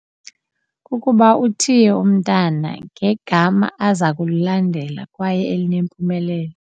Kukuba uthiye umntana ngegama aza kulilandela kwaye elinempumelelo.